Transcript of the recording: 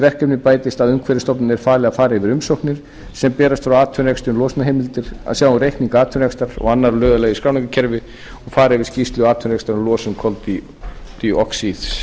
verkefni bætist að umhverfisstofnun er falið að fara yfir umsóknir sem berast frá atvinnurekstri um losunarheimildir að sjá um reikninga atvinnurekstrar og annarra lögaðila í skráningarkerfinu og fara yfir skýrslur atvinnurekstrar